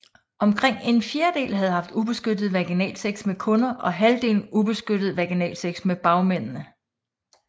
Omkring en fjerdedel havde haft ubeskyttet vaginalsex med kunder og halvdelen ubeskyttet vaginalsex med bagmændene